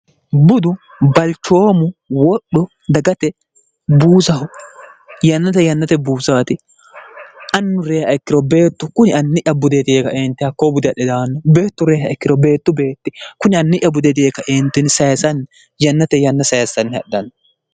budu balchoomu wodhu dagate buusahu yannate yannate buusaati annu rey ikkiro beettu kuni anni'ya budeeti yeeka eenti hakkoo bude adhe damanno beettu reyha ikkiro beettu beetti kuni anni'ya budeeti heekaeentini sayesanni yannate yanna sayessanni hadhanno